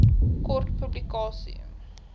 kort publikasie